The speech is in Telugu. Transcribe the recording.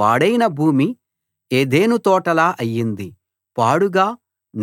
పాడైన భూమి ఏదెను తోటలా అయింది పాడుగా